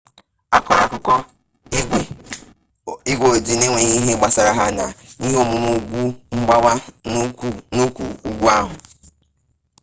akọrọ akụkọ igwe ojii n'enweghị ihe gbasara ha n'ihe omume ugwu mgbawa n'ụkwụ ugwu ahụ